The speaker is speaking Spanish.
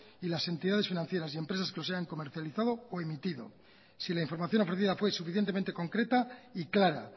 y las entidades financieras y empresas que los hayan comercializado o emitido si la información ofrecida fue suficientemente concreta y clara